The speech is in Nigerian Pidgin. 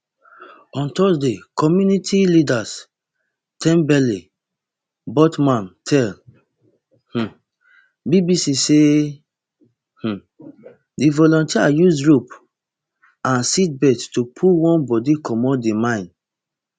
on thursday community leader thembile botman tell um bbc say um di volunteers use ropes and seat belts to pull one body comot di mine